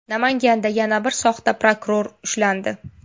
Namanganda yana bir soxta prokuror ushlandi.